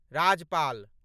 Rajpal.